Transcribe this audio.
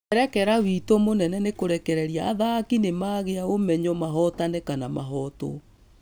Mwerekera witũ mũnene nĩ kũrekererq athaki nĩmagĩa ũmenyo mahotanĩ kana mahotwo.